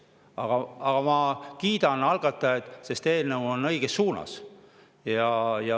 Aga ma siiski kiidan algatajaid, sest eelnõu liigub õiges suunas.